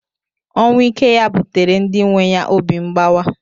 Ọnwụ ike ya buteere ndi nwe ya obi mgbawa.